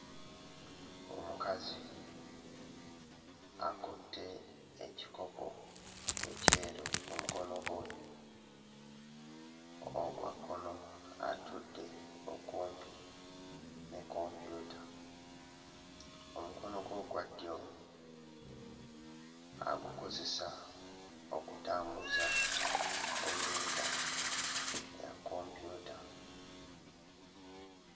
Omukazi akutte ekikopo ekyeru mu mukono gwe ogwa kkono atudde okumpi ne kompyuta omukono gwe ogwa ddyo agukozesa okutambuza pointer ya kompyuta.